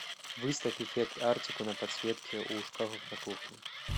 выставь эффект арктику на подсветке у шкафов на кухне